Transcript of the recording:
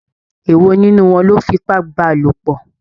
Èwò nínú wọn lọ fipá bálòpọ̀?